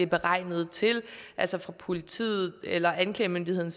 beregnet til altså fra politiet eller anklagemyndigheden